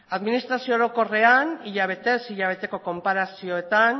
administrazio orokorrean hilabetez hilabeteko konparazioetan